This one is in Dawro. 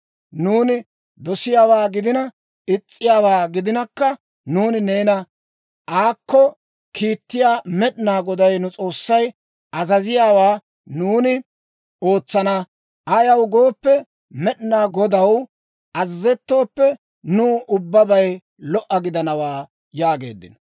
Nuuni dosiyaawaa gidina, is's'iyaawaa gidinakka, nuuni neena aakko kiittiyaa Med'inaa Goday nu S'oossay azaziyaawaa nuuni ootsana. Ayaw gooppe, Med'inaa Godaw azazettooppe, nuw ubbabay lo"a gidanawaa» yaageeddino.